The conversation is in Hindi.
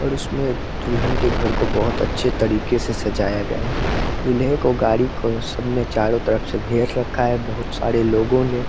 और उसमें दुल्हन के घर को बहुत अच्छे तरीके से सजाया गया है। दूल्हे को गाड़ी को सब ने चारों तरफ से घेर रखा है बहुत सारे लोगों ने।